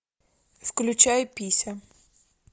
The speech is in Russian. включай пися